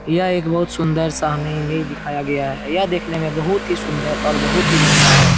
यह एक बहुत सुन्दर सा हमें इमेज दिखाया गया है यह देखने में बहुत ही सुन्दर और बहुत ही बढियाँ है।